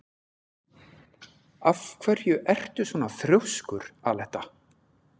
Af hverju ertu svona þrjóskur, Aletta?